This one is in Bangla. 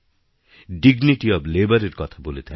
ডিগনিটি ওএফ ল্যাবার এর কথা বলে থাকি